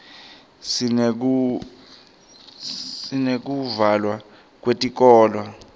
sineyekuvalwa kwetikolo